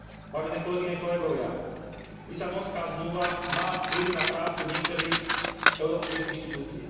Vážené kolegyne, kolegovia, Lisabonská zmluva má vplyv na prácu niektorých európskych inštitúcií.